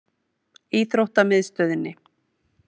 Íþróttamiðstöðinni